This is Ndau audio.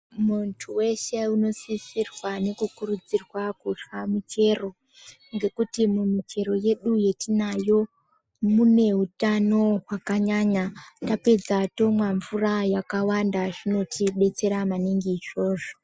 Muntu veshe unosisirwa nokukurudzirwa kurya michero. Ngekuti imwe michero yedu yatinayo mune hutano hwakanyanya. Tapedza tomwa mvura yakawanda zvinotibetsera maningi izvozvo.